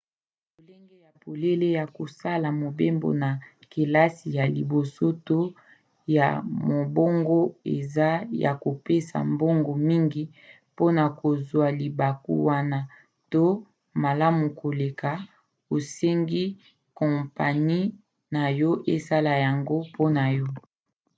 lolenge ya polele ya kosala mobembo na kelasi ya liboso to ya mombongo eza ya kopesa mbongo mingi mpona kozwa libaku wana to malamu koleka osengi kompani na yo esala yango pa na yo